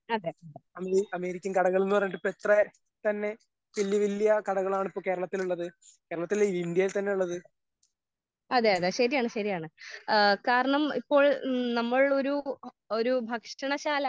അതെ അതെ ശരിയാണ് ശരിയാണ് ഏഹ് കാരണം ഇപ്പോൾ നമ്മൾ ഒരു ഒരു ഭക്ഷണ ശാല